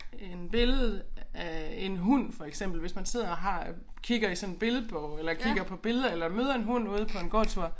En billede af en hund for eksempel hvis man sidder og har øh kigger i sådan en billedbog eller kigger på billeder eller møder en hund ude på en gåtur